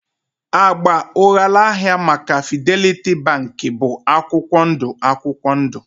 Agba ụghalaahịa maka Fidelity Bank bụ akwụkwọ ndụ akwụkwọ ndụ